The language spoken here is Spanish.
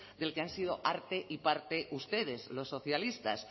del que han sido arte y parte ustedes los socialistas